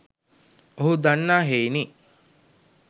ඔහු දන්නා හෙයිනි.